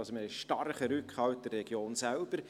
Wir haben einen starken Rückhalt in der Region selbst.